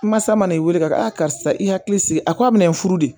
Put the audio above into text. Masa ma n'i weele ka karisa i hakili sigi a ko a bina n furu de